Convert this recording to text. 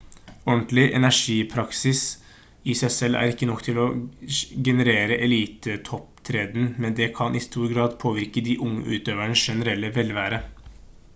ordentlig ernæringspraksis i seg selv er ikke nok til å generere eliteopptreden men det kan i stor grad påvirke de unge utøvernes generelle velvære